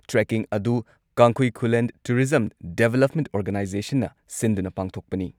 Trekking ꯑꯗꯨ ꯀꯥꯡꯈꯨꯏ ꯈꯨꯜꯂꯦꯟ ꯇꯨꯔꯤꯖꯝ ꯗꯦꯚꯂꯞꯃꯦꯟꯠ ꯑꯣꯔꯒꯥꯅꯥꯏꯖꯦꯁꯟꯅ ꯁꯤꯟꯗꯨꯅ ꯄꯥꯡꯊꯣꯛꯄꯅꯤ ꯫